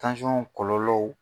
kɔlɔlɔw.